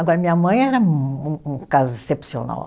Agora, minha mãe era um um caso excepcional.